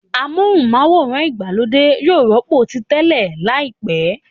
Amóhùnm'áwòrán ìgbàlódé yóò rọ́pò ti tẹ́lẹ̀ láìpẹ́